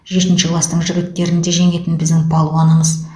жетінші кластың жігіттерін де жеңетін біздің балуанымыз